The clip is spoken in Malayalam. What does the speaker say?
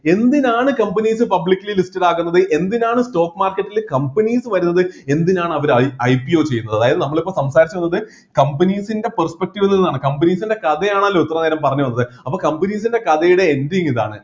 എന്തിനാണ് companies publicly listed ആകുന്നത് എന്തിനാണ് stock market ൽ companies വരുന്നത് എന്തിനാണ് അവർ അയ് IPO ചെയ്യുന്നത് അതായത് നമ്മൾ ഇപ്പൊ സംസാരിച്ചുവന്നത് companies ൻ്റെ perspective നിന്നതാണ് companies ൻ്റെ കഥയാണല്ലോ ഇത്രനേരം പറഞ്ഞ് വന്നത് അപ്പോ companies ൻ്റെ കഥയുടെ ending ഇതാണ്